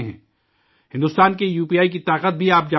ہندوستان کے U P I کی طاقت بھی آپ جانتے ہی ہیں